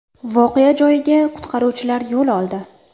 Voqea joyiga qutqaruvchilar yo‘l oldi.